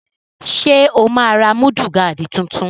Ṣé o máa ra múdúgáàdì tuntun?